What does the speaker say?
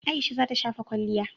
Aisha za ta shafa kwalliya.